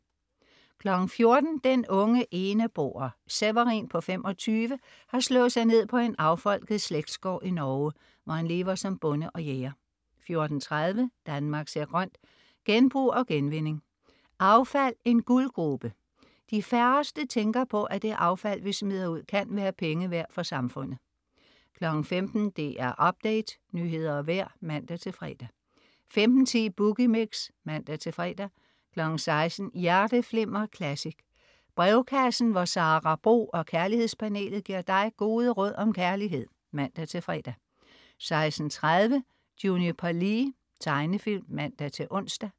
14.00 Den unge eneboer. Severin, 25, har slået sig ned på en affolket slægtsgård i Norge, hvor han lever som bonde og jæger 14.30 Danmark ser grønt: Genbrug og genvinding. Affald, en guldgrube. De færreste tænker på, at det affald, vi smider ud, kan være penge værd for samfundet 15.00 DR Update. Nyheder og vejr (man-fre) 15.10 Boogie Mix (man-fre) 16.00 Hjerteflimmer Classic. Brevkassen hvor Sara Bro og kærlighedspanelet giver dig gode råd om kærlighed (man-fre) 16.30 Juniper Lee. Tegnefilm (man-ons)